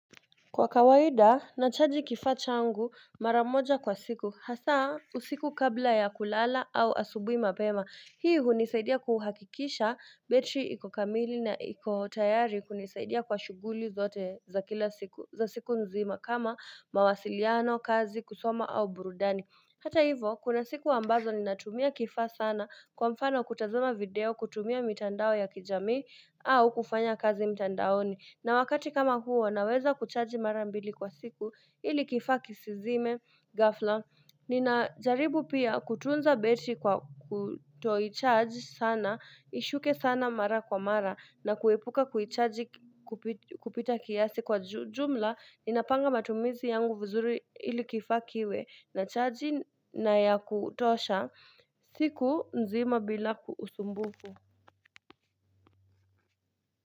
Kwa kawaida nachaji kifaa changu maramoja kwa siku hasa usiku kabla ya kulala au asubuhi mapema Hii hunisaidia kuhakikisha betri ikokamili na ikotayari kunisaidia kwa shughuli zote za kila siku za siku nzima kama mawasiliano kazi kusoma au burudani Hata hivo kuna siku ambazo ninatumia kifaa sana kwa mfano kutazama video kutumia mitandao ya kijami au kufanya kazi mitandaoni na wakati kama huo naweza kuchaji mara mbili kwa siku ilikifaaki sizime ghafla. Ninajaribu pia kutunza betri kwa kutoicharge sana, ishuke sana mara kwa mara na kuepuka kuchaji kupita kiasi kwa jumla. Ninapanga matumizi yangu vizuri ilikifaakiwe na chaji na ya kutosha siku nzima bila usumbufu.